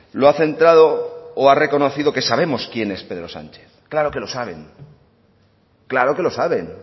lo ha centrado o ha reconocido que sabemos quién es pedro sánchez claro que lo saben claro que lo saben